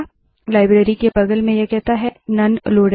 library के बगल में यह कहता है नोने लोडेड